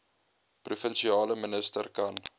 provinsiale minister kan